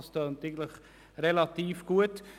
Das Ganze klingt recht gut.